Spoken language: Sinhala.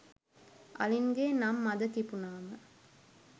අලින්ගේ නම් මද කිපුණාම